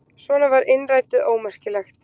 Svona var innrætið ómerkilegt.